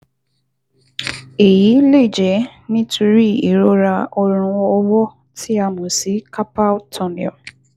Èyí lè jẹ́ nítorí ìrora ọrùn ọwọ́ tí a mọ̀ sí carpal tunnel